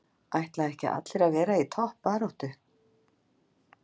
Ætla ekki allir að vera í toppbaráttu?